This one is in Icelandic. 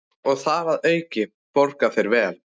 Og þar að auki borga þeir vel.